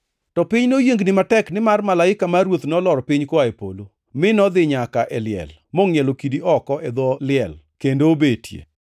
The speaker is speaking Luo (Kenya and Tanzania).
To piny noyiengni matek, nimar malaika mar Ruoth nolor piny koa e polo, mi nodhi nyaka e liel mongʼielo kidi oko e dho liel kendo obetie.